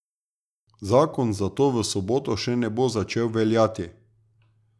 Zakon zato v soboto še ne bo začel veljati.